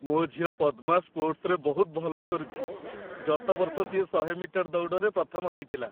ମୋ ଝିଅ ପଦ୍ମା ସ୍ପୋର୍ଟସ୍‌ରେ ବହୁତ ଭଲ କରୁଚି । ଗତ ବର୍ଷ ସିଏ ୧୦୦ ମିଟର ଦୌଡ଼ରେ ପ୍ରଥମ ହେଇଥିଲା ।